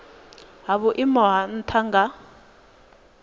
ha vhuimo ha nha nga